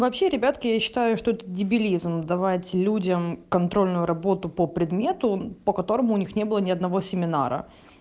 вообще ребятки я считаю что это дебилизм давать людям контрольную работу по предмету по которому у них не было ни одного семинара